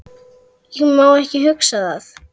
Ég má ekki hugsa það.